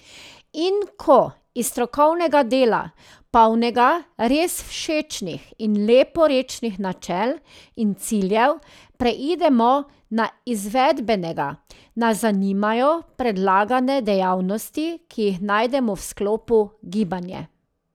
In ko iz strokovnega dela, polnega res všečnih in leporečnih načel in ciljev preidemo na izvedbenega, nas zanimajo predlagane dejavnosti, ki jih najdemo v sklopu Gibanje.